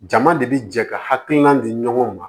Jama de bi jɛ ka hakilina di ɲɔgɔn ma